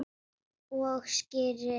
Og skyrið!